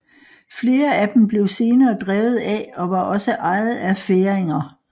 Flere af dem blev senere drevet af og var også ejet af færinger